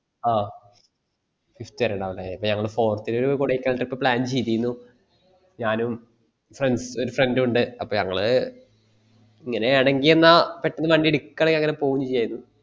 ആ fifth വരെ ഇണ്ടാകും അല്ല നമ്മള് forth ന് നമ്മ ഒരു കൊടൈക്കനാൽ trip plan ചെയ്തീനു ഞാനും ഒരു friends ഉം ഒരു friend ഇണ്ട് അപ്പൊ ഞങ്ങള് ഇങ്ങനെ ആണെങ്കിൽ ന്നാ പെട്ടന്ന് ഒരു വണ്ടി എടുക്കണേ അങ്ങനെ പോകും ചെയ്യാരുന്നു